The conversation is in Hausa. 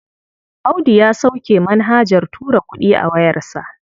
Audu ya sauke manhajar tura kuɗi a wayarsa.